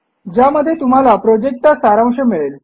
ज्यामध्ये तुम्हाला प्रॉजेक्टचा सारांश मिळेल